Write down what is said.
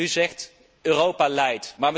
U zegt Europa leidt.